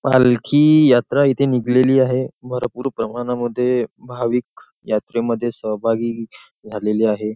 पालखी यात्रा इथे निघलेली आहे भरपूर प्रमाणामध्ये भाविक यात्रेमध्ये सहभागी झालेले आहे.